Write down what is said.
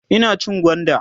Ina cin gwanda